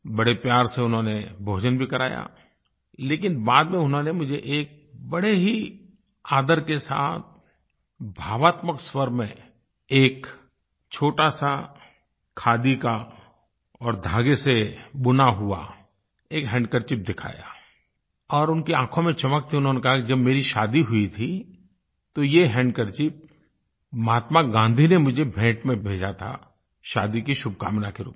बड़े प्यार से उन्होंने भोजन भी कराया लेकिन बाद में उन्होंने मुझे एक बड़े ही आदर के साथ भावात्मक स्वर में एक छोटासा खादी का और धागे से बुना हुआ एक हैंडकरचीफ दिखाया और उनकी आँखों में चमक थी उन्होंने कहा कि जब मेरी शादी हुई थी तो ये हैंडकरचीफ महात्मा गाँधी ने मुझे भेंट में भेजा था शादी की शुभकामना के रूप में